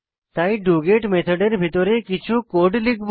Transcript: তাই ডগেট মেথডের ভিতরে কিছু কোড লিখব